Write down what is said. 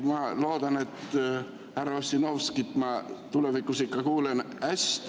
Ma loodan, et härra Ossinovskit ma tulevikus ikka kuulen hästi.